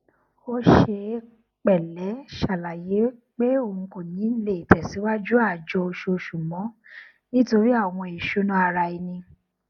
ó ṣe pẹlẹ ṣàlàyé pé òun kò ní le tẹsìwájú àjọ oṣooṣù mọ nítorí àwọn ìṣúná ara ẹni